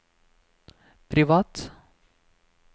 privat